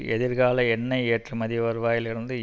எதிர்கால எண்ணெய் ஏற்றுமதி வருவாயிலிருந்து